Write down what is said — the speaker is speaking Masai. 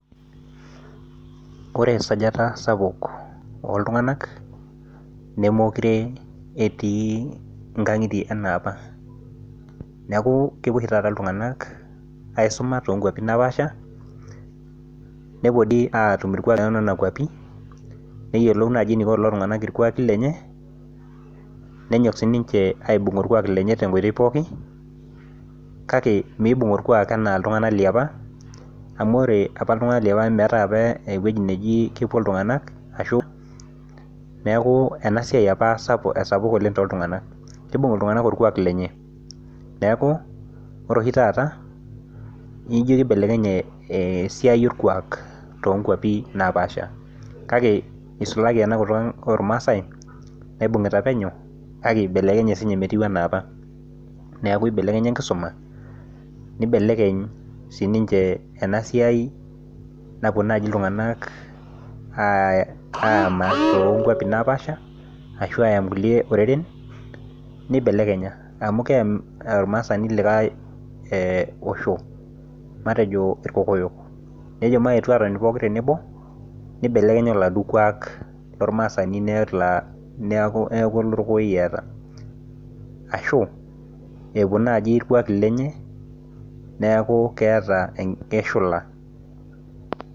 Ore esajata sapuk ok iltunganak nemeekure etii nkangitie enaa apa neeku kepuo oshi taata iltunganak aisuma too nkuapi naapaasha nepuo aatum irkuaki too nena kuapi. Naa kenare nenyok aibung orkuak lenye kake meibung orkuak anaa iltunganak liapa amu meetae apa ewueji sapuk nepuo iltunganak liapa. Neeku ore oshi taata naa ibelekenye esiai orkuak eisulaki enkutuk oormasae. Eibelekenya enkisuma tenebo o kiama amu kelelek eyam oltungani Le likae osho